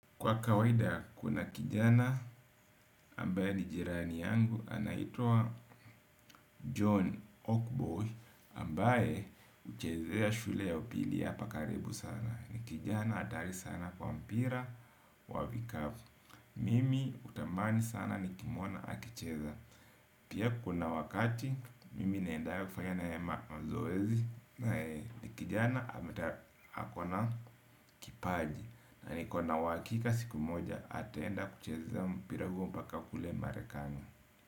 Kwa kawaida kuna kijana ambaye ni jirani yangu anaitua John Oakboy ambaye uchezea shule ya upili yapa karibu sana. Ni kijana atari sana kwa mpira wa vikavu. Mimi utamani sana ni kimwona akicheza. Pia kuna wakati mimi naenda ya kufanya naye mazoezi. Ni kijana ameta akona kipaji. Na niko na uhakika siku moja ataenda kucheza mpira huo mpaka kule marekani.